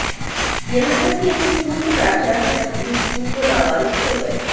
यहां तक की एक स्कूल के प्राचार्य तक भी स्कूल को लावारिस छोड़ गए